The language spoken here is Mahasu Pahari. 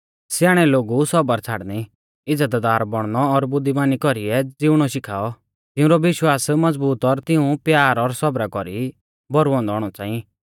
स्याणै लोगु सौबर छ़ाड़णी इज़्ज़तदार बौणनौ और बुद्धीमानी कौरीऐ ज़िउणौ शिखाऔ तिउंरौ विश्वास मज़बूत और तिऊं प्यार और सौबरा कौरी भौरु औन्दौ औणौ च़ांई